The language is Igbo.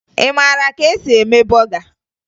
Ị mara ka e si eme bọga?